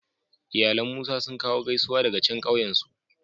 Iyalan Musa sun kawo gaisuwa daga can kauyen su.